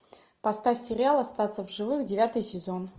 поставь сериал остаться в живых девятый сезон